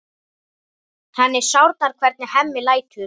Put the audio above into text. Henni sárnar hvernig Hemmi lætur.